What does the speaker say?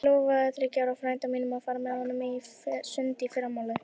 Ég lofaði þriggja ára frænda mínum að fara með honum í sund í fyrramálið.